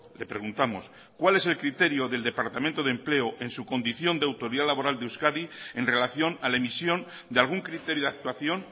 le preguntamos cuál es el criterio del departamento de empleo en su condición de autoridad laboral de euskadi en relación a la emisión de algún criterio de actuación